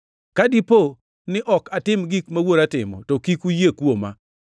Ka dipo ni ok atim gik ma Wuora timo, to kik uyie kuoma.